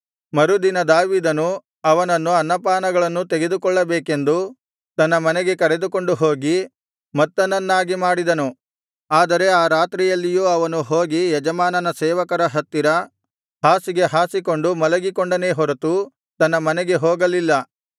ಮರುದಿನ ದಾವೀದನು ಅವನನ್ನು ಅನ್ನಪಾನಗಳನ್ನೂ ತೆಗೆದುಕೊಳ್ಳಬೇಕೆಂದು ತನ್ನ ಮನೆಗೆ ಕರೆದುಕೊಂಡು ಹೋಗಿ ಮತ್ತನನ್ನಾಗಿ ಮಾಡಿದನು ಆದರೆ ಆ ರಾತ್ರಿಯಲ್ಲಿಯೂ ಅವನು ಹೋಗಿ ಯಜಮಾನನ ಸೇವಕರ ಹತ್ತಿರ ಹಾಸಿಗೆ ಹಾಸಿಕೊಂಡು ಮಲಗಿಕೊಂಡನೇ ಹೊರತು ತನ್ನ ಮನೆಗೆ ಹೋಗಲಿಲ್ಲ